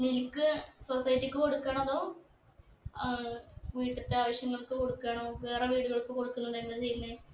milk society ക്ക് കൊടുക്കണോ അതോ ഏർ വീട്ടിത്തെ ആവശ്യങ്ങൾക്ക് കൊടുക്കാണോ വേറെ വീടുകൾക്ക് കൊടുക്കുന്നുണ്ടൊ എന്താ ചെയ്യുന്നേ